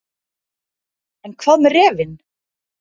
En hvað með refinn.